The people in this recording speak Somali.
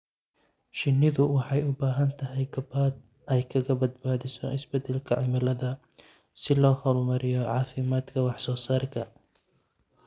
Shinnidu waxay u baahan tahay gabaad ay kaga badbaadiso isbedelka cimilada si loo horumariyo caafimaadka iyo wax soo saarka.